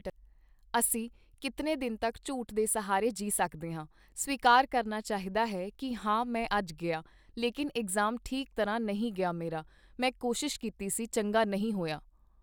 ਅਸੀਂ ਕਿਤਨੇ ਦਿਨ ਤੱਕ ਝੂਠ ਦੇ ਸਹਾਰੇ ਜੀ ਸਕਦੇ ਹਾਂ, ਸਵੀਕਾਰ ਕਰਨਾ ਚਾਹੀਦਾ ਹੈ ਕਿ ਹਾਂ ਮੈਂ ਅੱਜ ਗਿਆ, ਲੇਕਿਨ ਇਗਜ਼ਾਮ ਠੀਕ ਤਰ੍ਹਾਂ ਨਹੀਂ ਗਿਆ ਮੇਰਾ, ਮੈਂ ਕੋਸ਼ਿਸ਼ ਕੀਤੀ ਸੀ ਚੰਗਾ ਨਹੀਂ ਹੋਇਆ।